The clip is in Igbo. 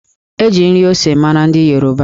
E ji nri ose mara ndị Yoruba